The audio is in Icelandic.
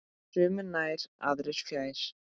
Sumir nær, aðrir fjær.